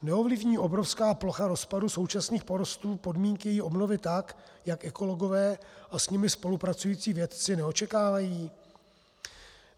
Neovlivní obrovská plocha rozpadu současných porostů podmínky její obnovy tak, jak ekologové a s nimi spolupracující vědci neočekávají?